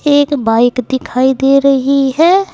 एक बाइक दिखाई दे रही है।